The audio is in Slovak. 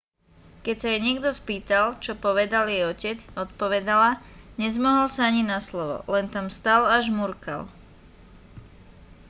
keď sa jej niekto spýtal čo povedal jej otec odpovedala nezmohol sa ani na slovo len tam stál a žmurkal